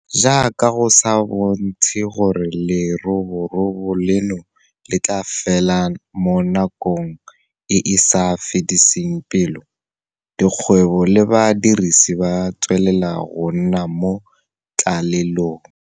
Jaaka go sa bontshe gore leroborobo leno le tla fela mo nakong e e sa fediseng pelo, dikgwebo le badiri ba tswelela go nna mo tlalelong.